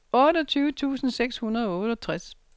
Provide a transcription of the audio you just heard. otteogtyve tusind seks hundrede og otteogtres